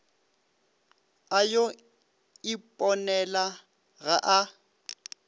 a yo iponela ga a